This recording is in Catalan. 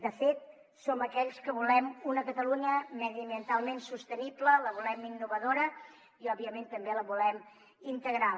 de fet som aquells que volem una catalunya mediambientalment sostenible la volem innovadora i òbviament també la volem integral